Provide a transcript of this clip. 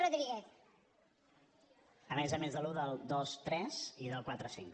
a més a més de l’un del dos tres i del quatre cinc